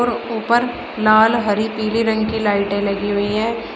ऊपर लाल हरी पीली रंग की लाइटें लगी हुई हैं।